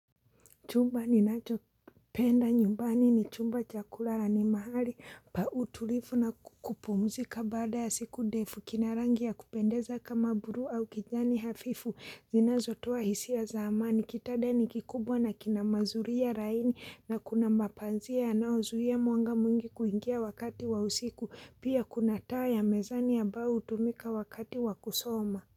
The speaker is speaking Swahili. Chumba ninacho penda nyumbani ni chumba cha kulala ni mahali pa utulifu na kupumzika baada ya siku defu kina rangi ya kupendeza kama buru au kijani hafifu zinazo toa hisiya za amani kitada ni kikubwa na kina mazuri ya raini na kuna mapanzia yanaozuia mwanga mwingi kuingia wakati wa usiku pia kuna taa ya mezani ambayo hutumika wakati wa kusoma.